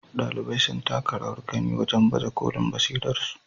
Ɗalibai sun taka rawar gani wajen baje kolin basirarsu.